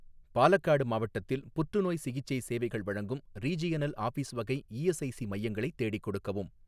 பாலக்காடு மாவட்டத்தில் புற்றுநோய் சிகிச்சை சேவைகள் வழங்கும் ரீஜியனல் ஆஃபீஸ் வகை இஎஸ்ஐசி மையங்களை தேடிக் கொடுக்கவும்.